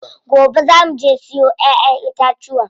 Gobe zaa muje mu siyo ƴaƴen itatuwa.